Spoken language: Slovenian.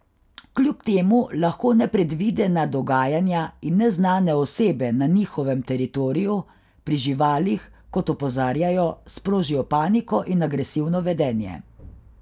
Kljub temu lahko nepredvidena dogajanja in neznane osebe na njihovem teritoriju, pri živalih, kot opozarjajo, sprožijo paniko in agresivno vedenje.